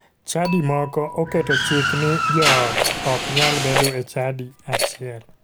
Chadi moko oketo chik ni joot ok nyal bedo e chadi achiel.